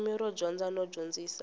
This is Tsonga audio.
ririmi ro dyondza no dyondzisa